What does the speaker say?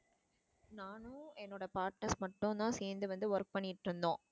நானும் என்னோட partner மட்டும் தான் சேர்ந்து வந்து work பண்ணிட்டிருந்தோம்.